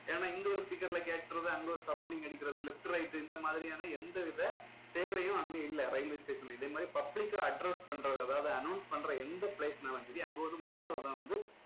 ஏன்னா இங்க ஒரு speaker ல கேக்குறது அங்க ஒரு surrounding அடிக்கிறது left right இந்த மாதிரியான எந்த வித தேவையும் அங்க இல்ல railway station ல. இதே மாதிரி public அ address பண்றது அதாவது announce பண்ற எந்த place னாலும் சரி அங்க ஒரு mono தான் வந்து